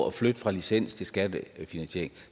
at flytte fra licens til skattefinansiering